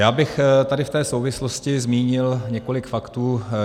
Já bych tady v této souvislosti zmínil několik faktů.